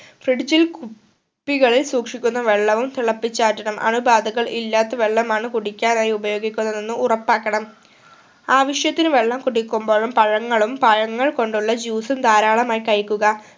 fridge ഇൽ കു കുപ്പികളിൽ സൂക്ഷിക്കുന്ന വെള്ളവും തിളപ്പിച്ചാറ്റണം അണു ബാധകൾ ഇല്ലാത്ത വെള്ളമാണ് കുടിക്കാനായി ഉപയോഗിക്കുന്നതെന്ന് ഉറപ്പാക്കണം ആവശ്യത്തിന് വെള്ളം കുടിക്കുമ്പോളും പഴങ്ങളും പഴങ്ങൾ കൊണ്ടുള്ള juice ഉം ധാരാളമായ്‌ കഴിക്കുക